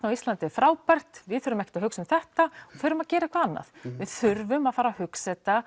á Íslandi er frábært við þurfum ekkert að hugsa um þetta förum að gera eitthvað annað við þurfum að fara að hugsa þetta